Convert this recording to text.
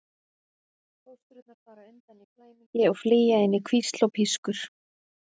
Fóstrurnar fara undan í flæmingi og flýja inn í hvísl og pískur.